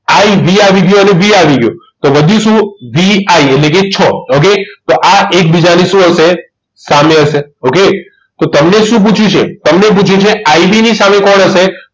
IV આવી ગયો અને V આવી ગયો તો વધ્યું શું VI એટલે કે છ ઓકે તો આ એકબીજાની શું હશે સામે હશે okay તો તમને શું પૂછ્યું છે તો તમને પુછ્યું છે IV ની સામે કોણ હશે